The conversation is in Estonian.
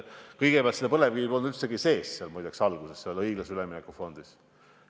Kõigepealt, muideks, ei olnud põlevkivi õiglase ülemineku fondis üldse sees.